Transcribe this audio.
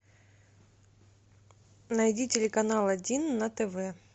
найди телеканал один на тв